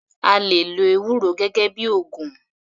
A lè lo ewúro gẹ́gẹ́ bíi ògùn.